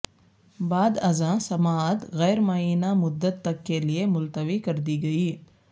بعد ازاں سماعت غیر معینہ مدت تک کے لئے ملتوی کردی گئی